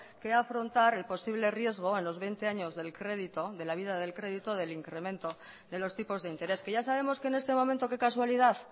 que afrontar el posible riesgo a los veinte años del crédito de la vida del crédito del incremento de los tipos de interés que ya sabemos que en este momento qué casualidad